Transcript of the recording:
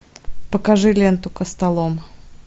покажи ленту костолом